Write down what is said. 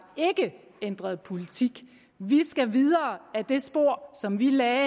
ændret politik vi skal videre ad det spor som vi lagde